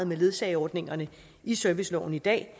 med ledsageordningerne i serviceloven i dag